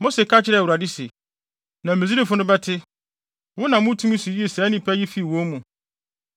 Mose ka kyerɛɛ Awurade se, “Na Misraimfo no bɛte! Wonam wo tumi so yii saa nnipa yi fii wɔn mu.